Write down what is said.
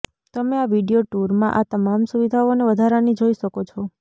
તમે આ વિડિઓ ટૂરમાં આ તમામ સુવિધાઓ અને વધારાની જોઈ શકો છો